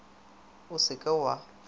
o se wa ka wa